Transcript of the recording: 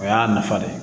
O y'a nafa ye